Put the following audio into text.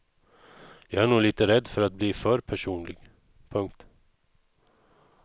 Jag är nog lite rädd för att bli för personlig. punkt